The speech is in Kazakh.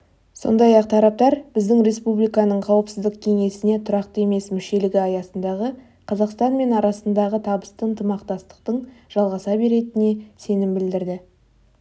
сондай-ақ тараптар біздің республиканың қауіпсіздік кеңесіне тұрақты емес мүшелігі аясындағы қазақстан мен арасындағы табысты ынтымақтастықтың жалғаса беретініне сенім білдірді